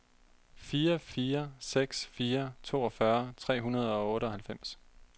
fire fire seks fire toogfyrre tre hundrede og otteoghalvfems